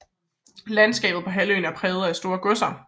Landskabet på halvøen er præget af store godser